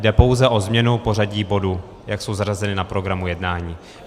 Jde pouze o změnu pořadí bodů, jak jsou zařazeny na programu jednání.